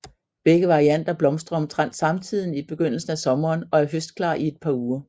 Begge varianter blomstrer omtrent samtidigt i begyndelsen af sommeren og er høstklar i et par uger